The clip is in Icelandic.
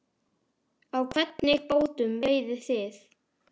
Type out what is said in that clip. Á hvernig bátum veiðið þið?